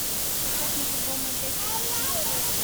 поставь мне футбол манчестер и челси